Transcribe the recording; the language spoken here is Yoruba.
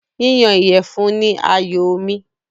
Yíyan ìyẹ̀fun ni àyòo mi.